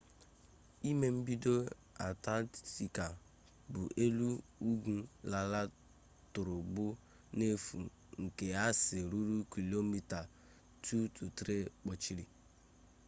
ime obodo antarctica bụ elu ugwu larịị tọgbọrọ n'efu nke aịs ruru kilomita 2-3 kpuchiri